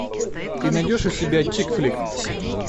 ты найдешь у себя чик флик